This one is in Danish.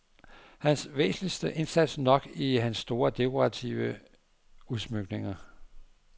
Hans væsentligste indsats nok i hans store dekorative udsmykninger.